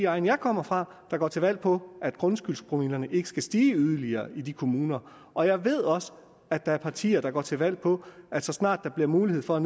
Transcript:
egn jeg kommer fra der går til valg på at grundskyldspromillerne ikke skal stige yderligere i de kommuner og jeg ved også at der er partier der går til valg på at så snart der bliver mulighed for